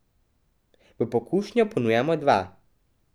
V pokušnjo ponujamo dva.